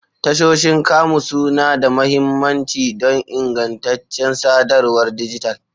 Tashoshin kamu suna da mahimmanci don ingantaccen sadarwar dijital.